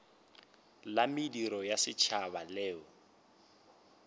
la mediro ya setšhaba leo